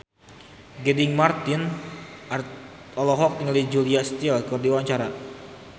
Gading Marten olohok ningali Julia Stiles keur diwawancara